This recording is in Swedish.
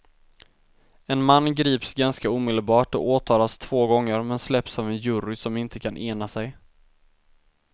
En man grips ganska omedelbart och åtalas två gånger men släpps av en jury som inte kan ena sig.